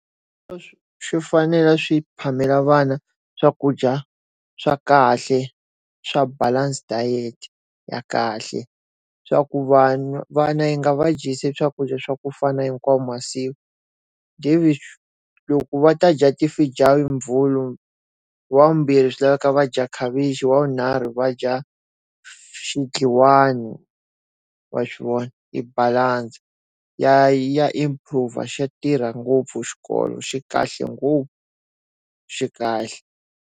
swi fanele swi phamela vana swakudya swa kahle swa balance diet ya kahle, swa ku vanhu vana hi nga va dyisi swakudya swa ku fana hinkwawu masiku. Loko va ta dya ti hi Mvhulu, hi Ravumbirhi swi lava va ta dya khavichi, hi Ravunharhu wa swi vona i balanse. Ya ya improve xa tirha ngopfu xikolo xi kahle ngopfu. Xi kahle.